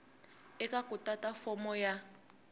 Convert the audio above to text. eka ku tata fomo ya